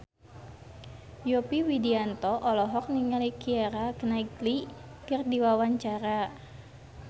Yovie Widianto olohok ningali Keira Knightley keur diwawancara